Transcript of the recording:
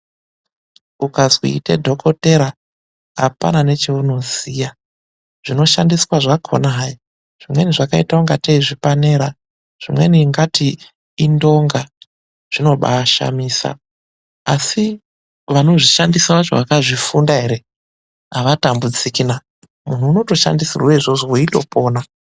Ukazwi ita dhokothera, apana necheunoziya .Zvinoshandiswa zvakhona hayi, zvimweni zvakaita ingatei zvipanera, zvimweni ingati indonga. Zvinobaashamisa, asi vanozvishandisa vacho vakazvifunda ere, avatambudziki na. Munh unotoshandisirwe izvozvo weitopona.